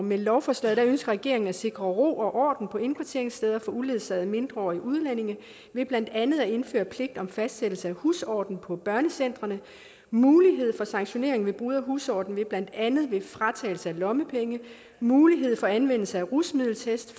med lovforslaget ønsker regeringen at sikre ro og orden på indkvarteringssteder for uledsagede mindreårige udlændinge ved blandt andet at indføre en pligt om fastsættelse af husorden på børnecentrene mulighed for sanktionering ved brud på husordenen ved blandt andet fratagelse af lommepenge mulighed for anvendelse af rusmiddeltest